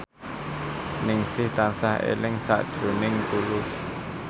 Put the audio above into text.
Ningsih tansah eling sakjroning Tulus